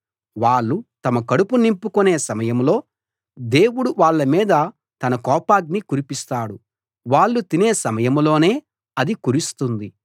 వాళ్ళు తమ కడుపు నింపుకునే సమయంలో దేవుడు వాళ్ళ మీద తన కోపాగ్ని కురిపిస్తాడు వాళ్ళు తినే సమయంలోనే అది కురుస్తుంది